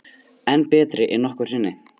Enn betri en nokkru sinni